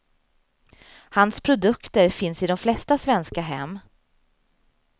Hans produkter finns i de flesta svenska hem.